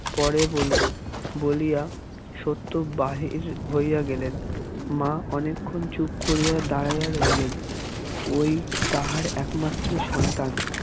পরে বলব বলিয়া সত্য বাহির হইয়া গেলেন মা অনেকক্ষণ চুপ করিয়া দাঁড়াইয়া রহিলেন ওই তাঁহার একমাত্র সন্তান।